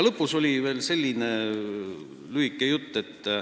Lõpus oli veel selline lühike jutt.